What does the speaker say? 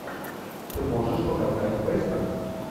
ты можешь показать вестерн